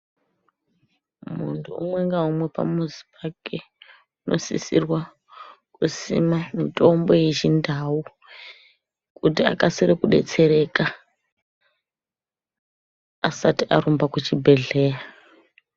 Muntu umwe ngaumwe pamuzi pake, unosisirwa kusima mitombo yechindau, kuti akasire kudetsereka, asati arumba kuchibhedhleya.